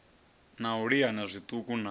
na u liana zwiṱuku na